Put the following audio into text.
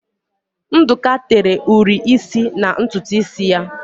Ndụka tere ụri isi na ntutu isi ya.